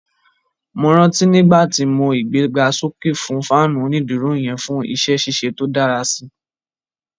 Mo ranti nigbati mo igbegasoke fún faanu oniduro yẹn fún išẹ ṣiṣe to dara sí